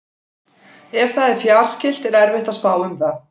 Ef það er fjarskylt er erfitt að spá um það.